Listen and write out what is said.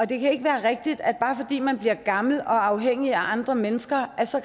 det kan ikke være rigtigt at man bare fordi man bliver gammel og afhængig af andre mennesker så